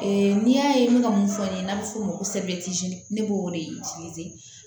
n'i y'a ye n bɛ ka mun fɔ n'a bɛ f'o ma ne b'o de